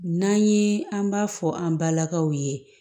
N'an ye an b'a fɔ an balakaw ye